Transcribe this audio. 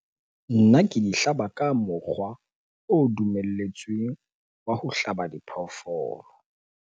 Nna ke di hlaba ka mokgwa o dumelletsweng wa ho hlaba diphoofolo.